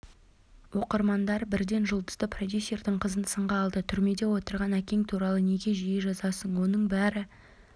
оқырмандар бірден жұлдызды продюсердің қызын сынға алды түрмеде отырған әкең туралы неге жиі жазасың онымен бәрі